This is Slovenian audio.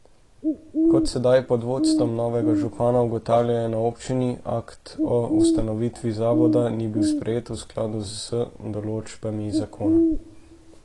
Kot sedaj pod vodstvom novega župana ugotavljajo na občini, akt o ustanovitvi zavoda ni bil sprejet v skladu s določbami zakona.